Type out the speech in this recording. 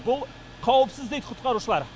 бұл қауіпсіз дейді құтқарушылар